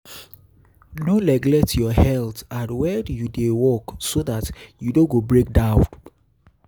No neglect your health and when you dey work so dat you no go break down